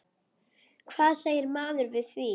Hvað segir maður við því?